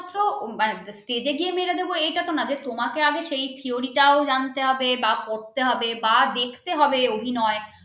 ও stage গিয়ে মেরে দেবো ওটা তো না, যে তোমাকে আগে সেই theory টাও জানতে হবে বা পড়তে হবে বা দেখতে হবে অভিনয়